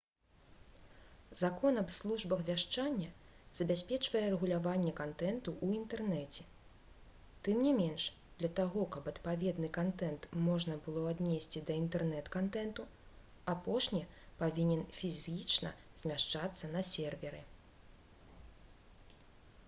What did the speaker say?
закон аб службах вяшчання забяспечвае рэгуляванне кантэнту ў інтэрнэце тым не менш для таго каб адпаведны кантэнт можна было аднесці да інтэрнэт-кантэнту апошні павінен фізічна змяшчацца на серверы